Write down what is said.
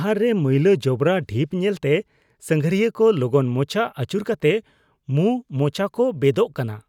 ᱰᱟᱦᱟᱨ ᱨᱮ ᱢᱟᱹᱭᱞᱟᱼᱡᱚᱵᱨᱟ ᱰᱷᱤᱯ ᱧᱮᱞᱛᱮ ᱥᱟᱸᱜᱷᱟᱨᱤᱭᱟᱹ ᱠᱚ ᱞᱚᱜᱚᱱ ᱢᱚᱪᱟ ᱟᱹᱪᱩᱨ ᱠᱟᱛᱮ ᱢᱩᱼᱢᱚᱪᱟ ᱠᱚ ᱵᱮᱫᱚᱜ ᱠᱟᱱᱟ ᱾